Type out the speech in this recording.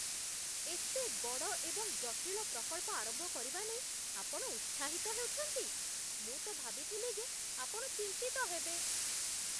ଏତେ ବଡ଼ ଏବଂ ଜଟିଳ ପ୍ରକଳ୍ପ ଆରମ୍ଭ କରିବା ନେଇ ଆପଣ ଉତ୍ସାହିତ ହେଉଛନ୍ତି? ମୁଁ ତ ଭାବିଥିଲି ଯେ ଆପଣ ଚିନ୍ତିତ ହେବେ!